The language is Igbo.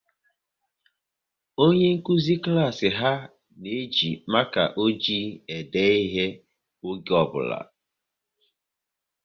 Onye nkụzi klas ha na-eji maka ojii ede ihe oge ọ bụla